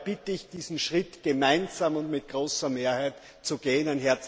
Daher bitte ich, diesen Schritt gemeinsam und mit großer Mehrheit zu gehen.